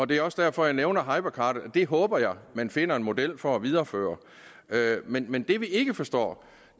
det er også derfor jeg nævner hypercardet og det håber jeg at man finder en model for at videreføre men men det vi ikke forstår